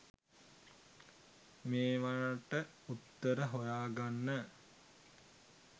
මේවට උත්තර හොයාගන්න